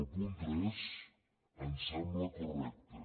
el punt tres ens sembla correcte